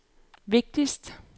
vigtigste